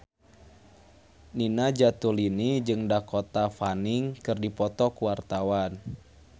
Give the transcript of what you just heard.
Nina Zatulini jeung Dakota Fanning keur dipoto ku wartawan